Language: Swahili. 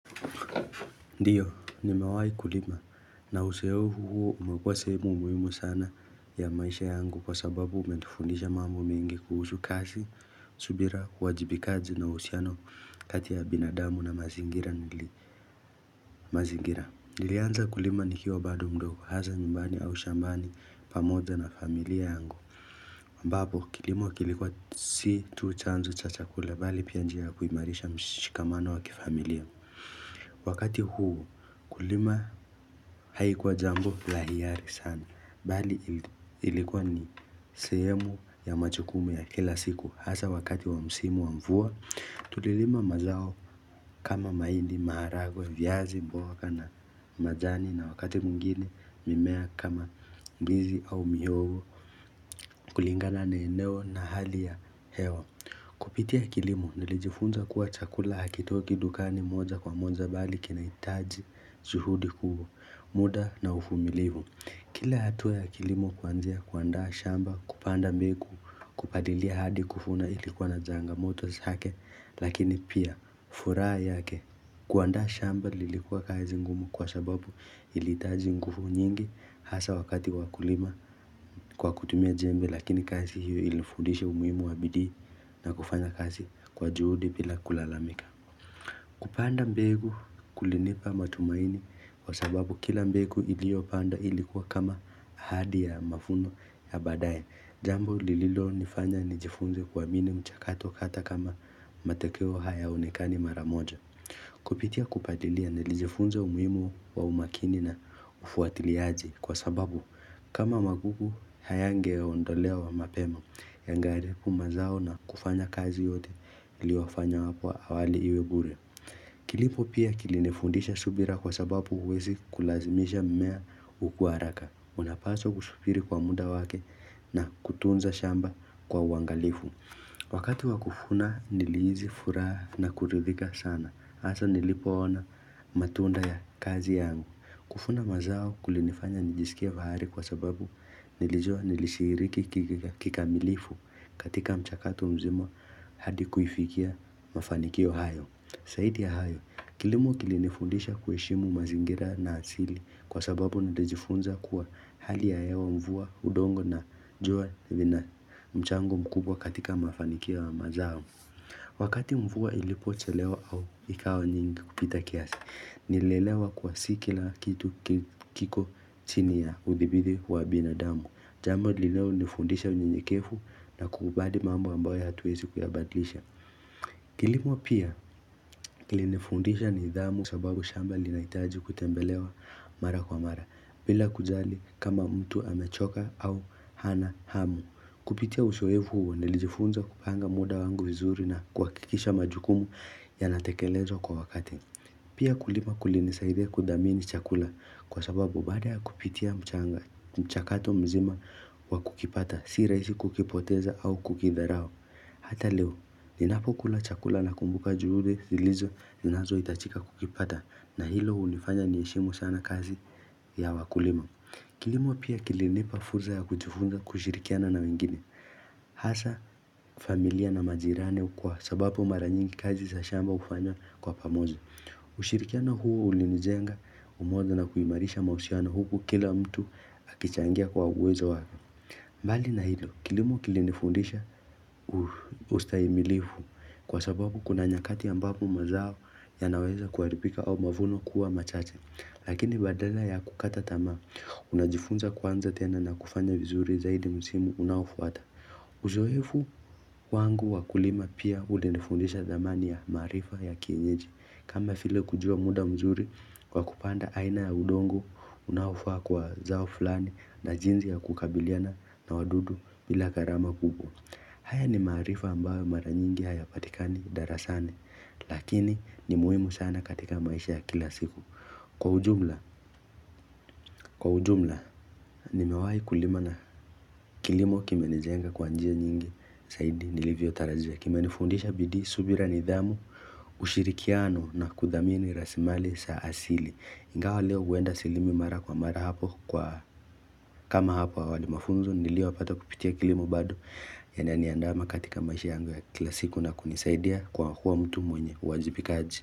Ndiyo nimewai kulima na uzoefu huu umekuwa sehemu muhimu sana ya maisha yangu kwa sababu umenifundisha mambo mingi kuhusu kazi, subira, uwajibikaji na uhusiano kati ya binadamu na mazingira nili mazingira Nilianza kulima nikiwa bado mdogo hasa nyumbani au shambani pamoja na familia yangu ambapo kilimo kilikuwa si tu chanzo cha chakula bali pia njia kuimarisha mshikamano wa kifamilia Wakati huu kulima haikuwa jambo la hiari sana Bali ilikuwa ni sehemu ya majukumu ya kila siku Hasa wakati wa msimu wa mvua Tulilima mazao kama mahindi, maharagwe, viazi, mboga na majani na wakati mwingine mimea kama mdizi au mihogo kulingana na eneo na hali ya hewa Kupitia kilimo nilijifunza kuwa chakula hakitoki dukani moja kwa moja bali kinahitaji juhudi kuu muda na uvumilivu Kila hatua ya kilimo kuanzia kuandaa shamba kupanda mbegu kupalilia hadi kuvuna ilikuwa na changamoto zake lakini pia furaha yake kuandaa shamba lilikuwa kazi ngumu kwa sababu ilihitaji nguvu nyingi hasa wakati wa kulima kwa kutumia jembe lakini kazi hiyo ilinifudisha umuhimu wa bidii na kufanya kazi kwa juhudi bila kulalamika. Kupanda mbegu kulinipa matumaini kwa sababu kila mbegu iliyo pandwa ilikuwa kama ahadi ya mavuno ya baadaye. Jambo lililo nifanya nijifunze kuamini mchakato hata kama matokeo hayaonekani mara moja. Kupitia kupalilia nilijifunza umuhimu wa umakini na ufuatiliaji kwa sababu kama magugu hayangeondolewa mapema yangeharibu mazao na kufanya kazi yote iliyo fanywa hapo awali iwe bure. Kilimo pia kilinifundisha subira kwa sababu huwezi kulazimisha mimea kukua haraka. Unapaswa kusubiri kwa muda wake na kutunza shamba kwa uangalifu. Wakati wa kuvuna nilihisi furaha na kuridhika sana hasa nilipoona matunda ya kazi yangu kuvuna mazao kulinifanya nijisikie bahari kwa sababu nilijua nilishiriki kikamilifu katika mchakatu mzima hadi kuifikia mafanikio hayo zaidi ya hayo, kilimo kilinifundisha kuheshimu mazingira na asili Kwa sababu nalijifunza kuwa hali ya hewa mvua udongo na jua lina mchango mkubwa katika mafanikio ya mazao Wakati mvua ilipo chelewa au ikawa nyingi kupita kiasi Nilielewa kuwa si kila kitu kiko chini ya udhibidi wa binadamu Jambo lililo nifundisha unyenyekevu na kukubali mambo ambayo hatuwezi kuyabadilisha Kilimo pia kilinifundisha nidhamu sababu shamba linahitaji kutembelewa mara kwa mara bila kujali kama mtu amechoka au hana hamu Kupitia uzoefu huo nilijifunza kupanga muda wangu vizuri na kuhakikisha majukumu yanatekelezwa kwa wakati Pia kulima kulinisaidia kudhamini chakula kwa sababu baada ya kupitia mchanga mchakato mzima wa kukipata si rahisi kukipoteza au kukitharao Hata leo, ninapo kula chakula nakumbuka juhudi zilizo zinazohitajika kukipata na hilo hulifanya niheshimu sana kazi ya wakulima. Kilimo pia kilinipa fursa ya kujifunza kushirikiana na wengine. Hasa familia na majirani kwa sababu mara nyingi kazi za shamba hufanywa kwa pamoja. Ushirikiano huo ulinijenga umoja na kuimarisha mahusiano huku kila mtu akichangia kwa uwezo wako. Mbali na hilo kilimo kilinifundisha ustahimilifu kwa sababu kuna nyakati ambapo mazao yanaweza kuharibika au mavuno kuwa machache Lakini badala ya kukata tamaa unajifunza kuanza tena na kufanya vizuri zaidi msimu unaofuata Uzoefu wangu wa kulima pia ulinifundisha dhamani ya maarifa ya kienyeji kama vile kujua muda mzuri kwa kupanda aina ya udongo unaofaa kwa zao fulani na jinsi ya kukabiliana na wadudu bila gharama kubwa haya ni maarifa ambayo mara nyingi hayapatikani darasani lakini ni muhimu sana katika maisha ya kila siku Kwa ujumla, kwa ujumla nimewai kulima na kilimo kimenijenga kwa njia nyingi zaidi nilivyo tarajia Kimenifundisha bidii subira nidhamu, ushirikiano na kudhamini rasilimali sa asili ingawa leo huenda silimi mara kwa mara hapo kwa kama hapo awali mafunzo niliyo yapata kupitia kilimo bado Yananiandama katika maisha yangu ya kila siku na kunisaidia kwa kuwa mtu mwenye uwajibikaji.